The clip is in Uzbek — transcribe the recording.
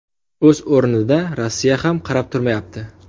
O‘z o‘rnida, Rossiya ham qarab turmayapti.